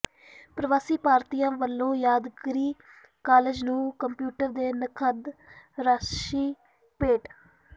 ਪ੍ਰਵਾਸੀ ਭਾਰਤੀਆਂ ਵਲੋਂ ਯਾਦਗਾਰੀ ਕਾਲਜ ਨੂੰ ਕੰਪਿਊਟਰ ਤੇ ਨਕਦ ਰਾਸ਼ੀ ਭੇਟ